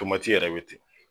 yɛrɛ bɛ ten